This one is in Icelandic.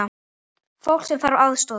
Fólk sem þarf aðstoð.